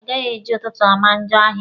A gaghị eji ụtụtụ ama njọ ahịa.